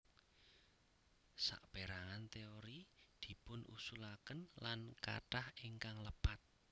Sapérangan téori dipunusulaken lan kathah ingkang lepat